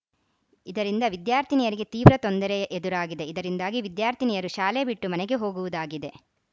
ಇದರಿಂದ ವಿದ್ಯಾರ್ಥಿನಿಯರಿಗೆ ತೀವ್ರ ತೊಂದರೆ ಎದುರಾಗಿದೆ ಇದರಿಂದಾಗಿ ವಿದ್ಯಾರ್ಥಿನಿಯರು ಶಾಲೆ ಬಿಟ್ಟು ಮನೆಗೆ ಹೋಗುವುದಾಗಿದೆ